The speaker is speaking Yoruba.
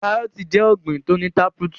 Kárọọ̀tì jẹ ọ̀gbin tó ní táprútù.